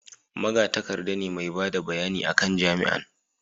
magatakarda ne mai bada bayani a kan jami'an